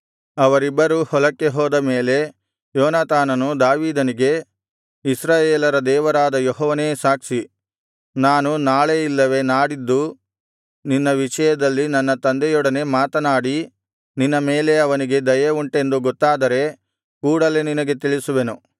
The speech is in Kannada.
ಅವರಿಬ್ಬರೂ ಹೊಲಕ್ಕೆ ಹೋದ ಮೇಲೆ ಯೋನಾತಾನನು ದಾವೀದನಿಗೆ ಇಸ್ರಾಯೇಲರ ದೇವರಾದ ಯೆಹೋವನೇ ಸಾಕ್ಷಿ ನಾನು ನಾಳೆ ಇಲ್ಲವೆ ನಾಡಿದ್ದು ನಿನ್ನ ವಿಷಯದಲ್ಲಿ ನನ್ನ ತಂದೆಯೊಡನೆ ಮಾತನಾಡಿ ನಿನ್ನ ಮೇಲೆ ಅವನಿಗೆ ದಯೆ ಉಂಟೆಂದು ಗೊತ್ತಾದರೆ ಕೂಡಲೆ ನಿನಗೆ ತಿಳಿಸುವೆನು